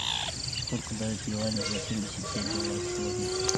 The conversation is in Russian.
сколько дают юаней за семьдесят пять долларов сегодня